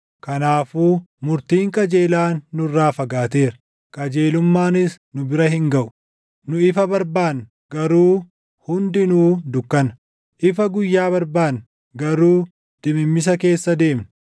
Kanaafuu murtiin qajeelaan nurraa fagaateera; qajeelummaanis nu bira hin gaʼu. Nu ifa barbaanna; garuu hundinuu dukkana; ifa guyyaa barbaanna; garuu dimimmisa keessa deemna.